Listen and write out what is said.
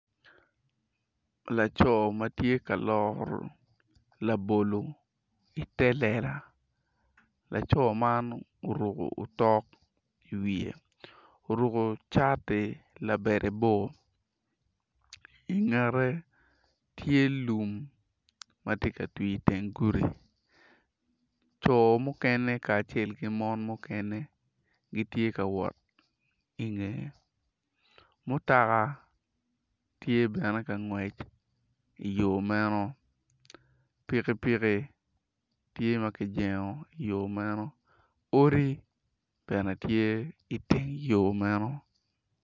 Laco ma tye ka loro labolo ite lela laco man oruko tok iwiye oruko cati labade bor ingete tye lum ma tye ka twii iteng gudi co mukene kacel ki mon mukene gitye ka wot ingeye mutoka tye bene ka nwec iyo meno pikipiki tye ma kijengo iyo meno odi bene tye iteng yo meno.